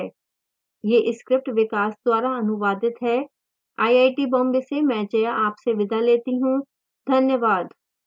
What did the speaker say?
यह script विकास द्वारा अनुवादित है मैं जया अब आपसे विदा लेती हूँ